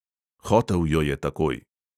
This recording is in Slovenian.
Hotel jo je takoj.